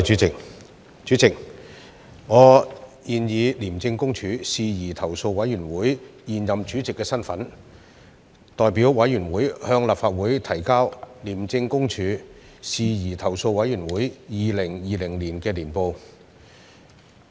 主席，我現以廉政公署事宜投訴委員會現任主席的身份，代表委員會向立法會提交"廉政公署事宜投訴委員會二零二零年年報"。